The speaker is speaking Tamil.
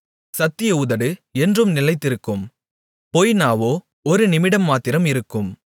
சத்திய உதடு என்றும் நிலைத்திருக்கும் பொய்நாவோ ஒரு நிமிடம்மாத்திரம் இருக்கும்